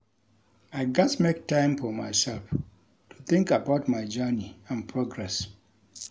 I gats make time for myself to think about my journey and progress.